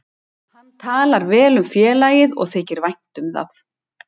Hann talar vel um félagið og þykir vænt um það.